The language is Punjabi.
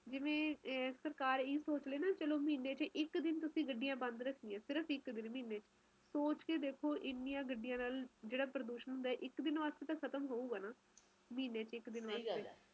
ਕੁਸ਼ ਤਾ ਕਰਨਾ ਹੀ ਆ ਲੋਕਾਂ ਨੇ ਮਾਹੌਲ ਬਦਲਦਾ ਜਾ ਰਿਹਾ ਪਰ ਮੈਨੂੰ ਇਹ ਲੱਗਦਾ ਕਿ ਸਰਕਾਰ ਨੂੰ ਇਸ ਬਾਵਤ ਕੁਜ ਨਾ ਕੁਜ ਕਦਮ ਉਠਾਨੇ ਚਾਹੀਦੇ ਹਨ